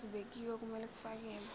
ezibekiwe okumele kufakelwe